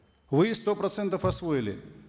вы их сто процентов освоили